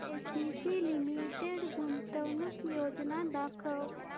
ACC limited गुंतवणूक योजना दाखव